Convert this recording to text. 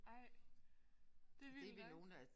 Ej det vildt nok